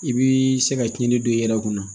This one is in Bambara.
I bi se ka tiɲɛni don i yɛrɛ kunna